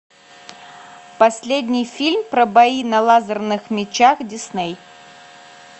последний фильм про бои на лазерных мечах дисней